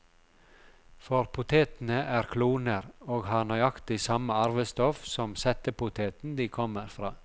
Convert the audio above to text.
For potetene er kloner, og har nøyaktig samme arvestoff som settepoteten de kommer fra.